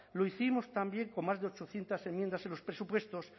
lo hicimos también con más de ochocientos enmiendas en los presupuestos